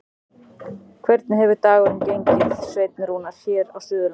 Hvernig hefur dagurinn gengið, Sveinn Rúnar, hér á Suðurlandinu?